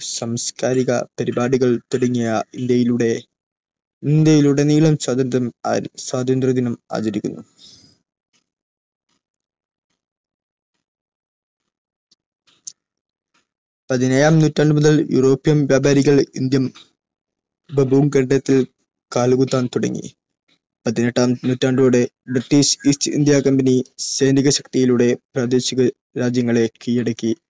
പതിനേഴാം നൂറ്റാണ്ട് മുതൽ യുറോപ്യൻ വ്യാപാരികൾ ഇന്ത്യൻ ഉപഭൂഖണ്ഡത്തിൽ കാലുകുത്താൻ തുടങ്ങി. പതിനെട്ടാം നൂറ്റാണ്ടോടെ ബ്രിട്ടീഷ് East India Company സൈനിക ശക്തിയിലൂടെ പ്രാദേശിക രാജ്യങ്ങളെ കീഴടക്കി